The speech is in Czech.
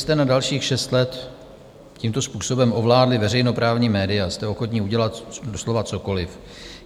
Abyste na dalších šest let tímto způsobem ovládli veřejnoprávní média, jste ochotni udělat doslova cokoliv.